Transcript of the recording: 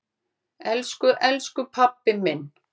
Elsku elsku pabbi minn.